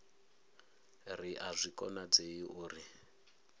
ri a zwi konadzei uri